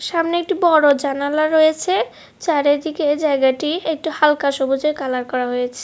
সামনে একটি বড় জানালা রয়েছে চারিদিকে জায়গাটি একটু হালকা সবুজে কালার করা হয়েছে।